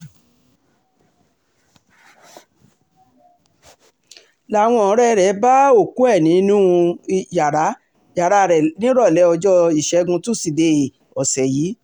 làwọn ọ̀rẹ́ rẹ̀ bá òkú ẹ̀ nínú um yàrá rẹ̀ nírọ̀lẹ́ ọjọ́ ìṣẹ́guntúṣídéé um ọ̀sẹ̀ yìí